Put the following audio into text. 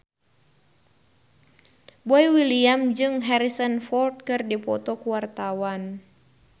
Boy William jeung Harrison Ford keur dipoto ku wartawan